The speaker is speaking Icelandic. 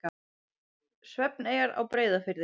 Svefneyjar á Breiðafirði.